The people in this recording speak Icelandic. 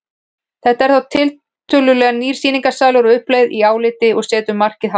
Þetta er þá tiltölulega nýr sýningarsalur á uppleið í áliti og setur markið hátt.